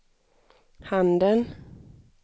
handen